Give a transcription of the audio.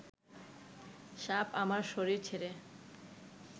সাপ আমার শরীর ছেড়ে